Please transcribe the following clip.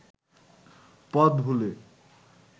পথ ভুলে